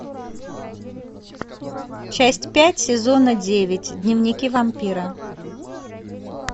часть пять сезона девять дневники вампира